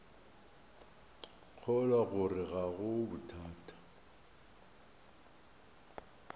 kgolwa gore ga go bothata